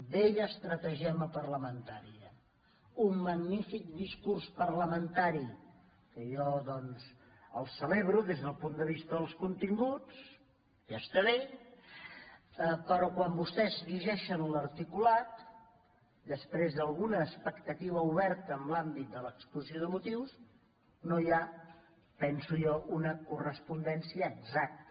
vella estratagema parlamen·tària un magnífic discurs parlamentari que jo doncs el celebro des del punt de vista dels continguts ja està bé però quan vostès llegeixen l’articulat després d’alguna expectativa oberta en l’àmbit de l’exposició de motius no hi ha penso jo una correspondència exacta